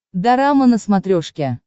дорама на смотрешке